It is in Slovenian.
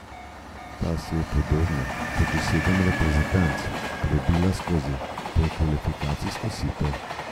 Ta se je, podobno kot še sedem reprezentanc, prebila skozi predkvalifikacijsko sito.